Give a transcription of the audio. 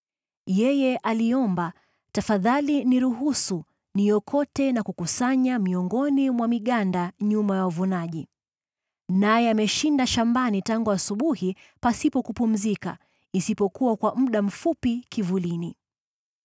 Yeye aliomba, ‘Tafadhali niruhusu niokote na kukusanya miongoni mwa miganda nyuma ya wavunaji.’ Naye ameshinda shambani tangu asubuhi pasipo kupumzika, isipokuwa kwa muda mfupi kivulini.”